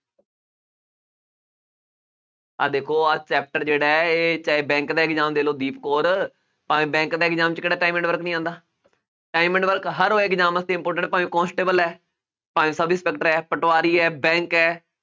ਆਹ ਦੇਖੋ ਆਹ chapter ਜਿਹੜਾ ਹੈ ਇਹ ਚਾਹੇ bank ਦਾ exam ਦੇ ਲਓ ਦੀਪ ਕੌਰ ਭਾਵੇਂ bank ਦਾ exam 'ਚ ਕਿਹੜਾ time and work ਨੀ ਆਉਂਦਾ time and work ਹਰ ਉਹ exam ਵਾਸਤੇ important ਭਾਵੇਂ ਕੋਂਸਟੇਬਲ ਹੈ ਭਾਵੈਂ ਸਬ ਇੰਸਪੈਕਟਰ ਹੈ ਪਟਵਾਰੀ ਹੈ bank ਹੈ